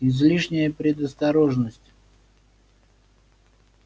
излишняя предосторожность